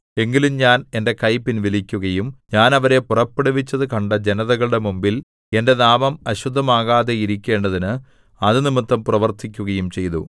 എങ്കിലും ഞാൻ എന്റെ കൈ പിൻവലിക്കുകയും ഞാൻ അവരെ പുറപ്പെടുവിച്ചതു കണ്ട ജനതകളുടെ മുമ്പിൽ എന്റെ നാമം അശുദ്ധമാകാതെ ഇരിക്കേണ്ടതിന് അതുനിമിത്തം പ്രവർത്തിക്കുകയും ചെയ്തു